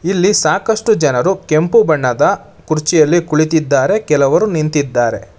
ಇಲ್ಲಿ ಸಾಕಷ್ಟು ಜನರು ಕೆಂಪು ಬಣ್ಣದ ಕುರ್ಚಿಯಲ್ಲಿ ಕುಳಿತಿದ್ದಾರೆ ಕೆಲವರು ನಿಂತಿದ್ದಾರೆ.